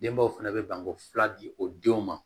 Denbaw fana bɛ banko fila di o denw ma